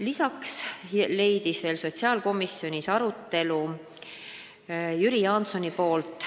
Lisaks leidis sotsiaalkomisjonis arutelu Jüri Jaansoni küsimus.